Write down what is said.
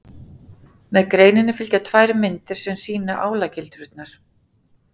með greininni fylgja tvær myndir sem sýna álagildrurnar